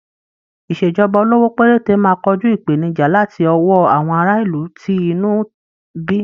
Ìṣèjọba olówó péréte máa kojú ìpènijà láti ọwó àwọn ará ìlú tí inú ń bí.